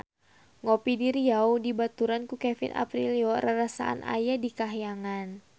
Ngopi di Riau dibaturan ku Kevin Aprilio rarasaan aya di kahyangan